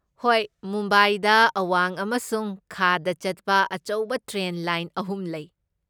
ꯍꯣꯏ, ꯃꯨꯝꯕꯥꯏꯗ ꯑꯋꯥꯡ ꯑꯃꯁꯨꯡ ꯈꯥꯗ ꯆꯠꯄ ꯑꯆꯧꯕ ꯇ꯭ꯔꯦꯟ ꯂꯥꯏꯟ ꯑꯍꯨꯝ ꯂꯩ꯫